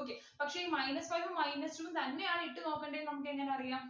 okay പക്ഷെ ഈ minus five ഉം minus two ഉം തന്നെയാണ് ഇട്ടു നോക്കണ്ടേന്ന് നമുക്കെങ്ങനെ അറിയാം